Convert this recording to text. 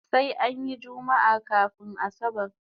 Sai anyi jummaa kafun asabar